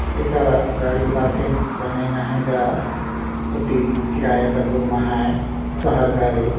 एकरा गाड़ी पार्किंग बनाईन अहाय गा ओती किराया कर रूम अहाय शहर करी।